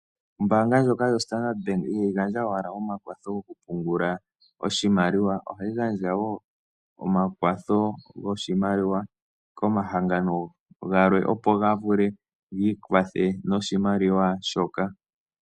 Ombaanga ndjoka yo Standard Bank ihayi gandja owala omakwatho goku pungula oshimaliwa. Ohayi gandja woo omakwatho goshimaliwa komahangano galwe opo ga vule gi ikwathe noshimaliwa shoka.